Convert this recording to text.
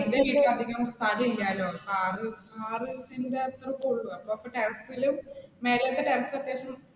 എന്റെ വീട്ടിൽ അധികം സ്ഥലം ഇല്ലാലോ, അപ്പ ആറ് ആറ് സെന്റ് അത്രയൊക്കെ ഉള്ളൂ അപ്പ terrace ൽ മേലേൽത്ത terrace അത്യാവശ്യം